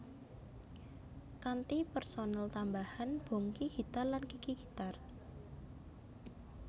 Kanthi personel tambahan Bongky gitar lan Kiki gitar